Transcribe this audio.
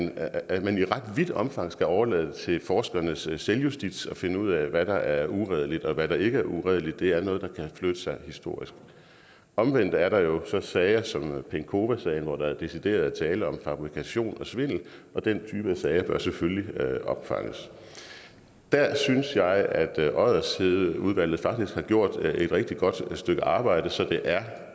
at man i ret vidt omfang skal overlade til forskernes selvjustits at finde ud af hvad der er uredeligt og hvad der ikke er uredeligt det er noget der kan flytte sig historisk omvendt er der jo så sager som penkowasagen hvor der decideret er tale om fabrikation og svindel og den type af sager bør selvfølgelig opfanges der synes jeg at oddershedeudvalget faktisk har gjort et rigtig godt stykke arbejde så det er